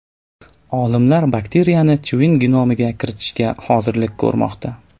Olimlar bakteriyani chivin genomiga kiritishga hozirlik ko‘rmoqda.